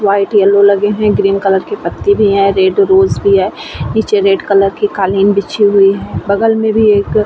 white yellow लगे हुए है और ग्रीन के पत्ते भी है रेड रोज भी है नीचे रेड कलर की कालीन बिछी हुई है बगल मे भी एक --